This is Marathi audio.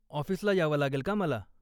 ऑफिसला यावं लागेल का मला?